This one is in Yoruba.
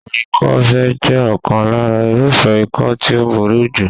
Àrùn ikọ́-ife jẹ́ ọ̀kan lára irúfẹ́ ikọ́ tí ó burú jù.